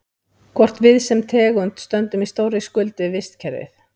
Hvort við sem tegund stöndum í stórri skuld við vistkerfið?